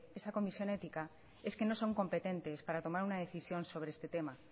esa comisión ética es que no son competentes para tomar una decisión sobre este tema